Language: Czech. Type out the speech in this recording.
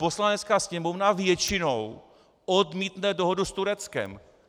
Poslanecká sněmovna většinou odmítne dohodu s Tureckem.